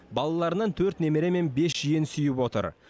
балаларынан төрт немере мен бес жиен сүйіп отыр